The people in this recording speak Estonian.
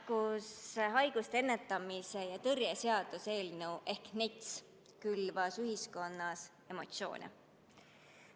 Nakkushaiguste ennetamise ja tõrje seaduse ehk NETS-i eelnõu külvas ühiskonnas emotsioone.